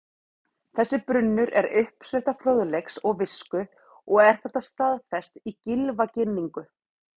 Þessi brunnur er uppspretta fróðleiks og visku og er þetta staðfest í Gylfaginningu: